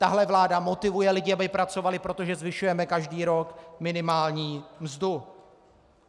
Tahle vláda motivuje lidi, aby pracovali, protože zvyšujeme každý rok minimální mzdu.